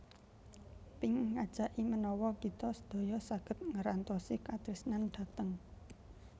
Pink ngajaki menawa kita sedaya saget ngerantosi katresnan dhateng